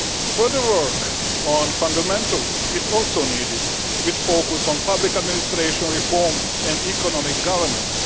Further work on fundamentals is also needed with a focus on public administration reform and economic governance.